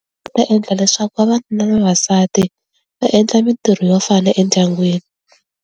Swi ta endla leswaku vavanuna na vavasati va endla mintirho yo fana endyangwini.